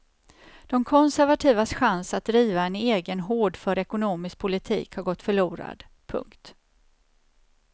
De konservativas chans att driva en egen hårdför ekonomisk politik har gått förlorad. punkt